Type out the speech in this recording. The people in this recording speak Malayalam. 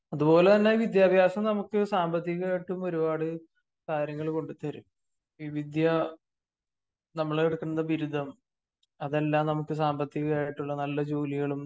അത്പോലെ തന്നെ വിദ്യാഭ്യാസം നമുക്ക് സാമ്പത്തികമായിട്ട് ഒരുപാട് കാര്യങ്ങള് കൊണ്ടത്തരും. ഈ വിദ്യ നമ്മളെടുക്കുന്ന ബിരുദം അതെല്ലാ നമുക്ക് സാമ്പത്തികമായിട്ടുള്ള നല്ല ജോലികളും